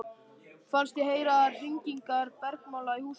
Fannst ég heyra hringingarnar bergmála í húsinu.